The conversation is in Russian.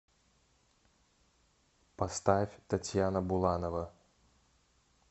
поставь татьяна буланова